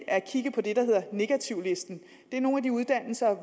at kigge på det der hedder negativlisten det er nogle af de uddannelser